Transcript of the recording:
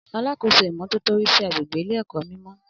Alákóso ìmọ́tótó rí sí agbègbè ilé èkó mimo